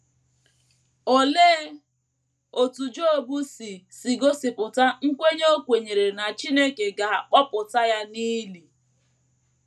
Olee otú Job si si gosipụta nkwenye o kwenyere na Chineke ga - akpọpụta ya n’ili?